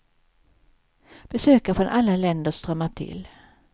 Besökare från alla länder strömmar till.